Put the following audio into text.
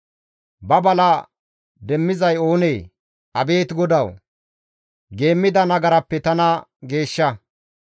Ba bala demmizay oonee? Abeet GODAWU! Geemmida nagarappe tana geeshsha.